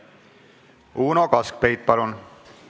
Uno Kaskpeit, palun!